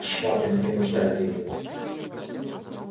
швабрин принуждает её